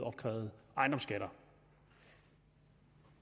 opkrævet ejendomsskatter